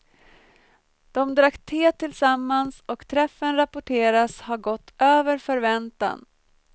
De drack te tillsammans och träffen rapporteras ha gått över förväntan.